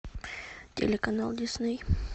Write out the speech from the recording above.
телеканал дисней